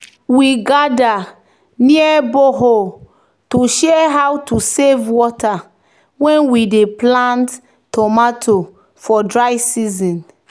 "we gather near borehole to share how to save water when we dey plant tomato for dry season."